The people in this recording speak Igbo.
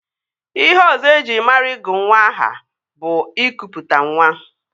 Ihe ọzọ eji mara ịgụ nwa aha bụ ịkụpụtanwa